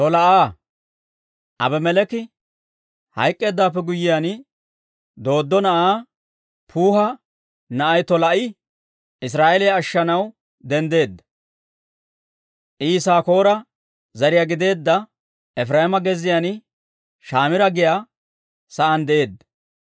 Aabimeleeki hayk'k'eeddawaappe guyyiyaan, Dooddo na'aa Puuha na'ay Tolaa'i Israa'eeliyaa ashshanaw denddeedda. I Yisaakoora zariyaa gideedda, Efireema gezziyaan Shamiira giyaa saan de'eedda.